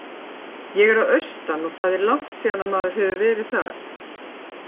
Ég er að austan og það er langt síðan að maður hefur verið þar.